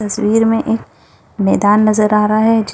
तस्वीर में एक मेदान नजर आ रहा हैं--